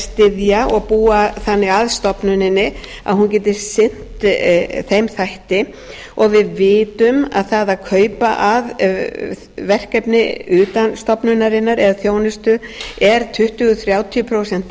styðja og búa þannig að stofnuninni að hún geti sinnt þeim þætti og við vitum að það að kaupa að þjónustu utan stofnunarinnar er tuttugu þrjátíu prósent